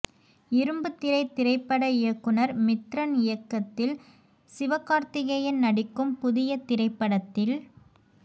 இரும்புத்திரை திரைப்பட இயக்குநர் மித்ரன் இயக்கத்தில் சிவகார்த்திகேயன் நடிக்கும் புதிய திரைப்படத்தில்